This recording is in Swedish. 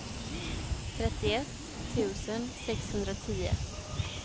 trettioett tusen sexhundratio